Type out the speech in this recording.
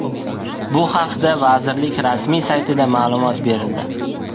Bu haqda vazirlik rasmiy saytida ma’lumot berildi .